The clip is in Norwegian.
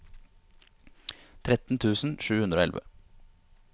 tretten tusen sju hundre og elleve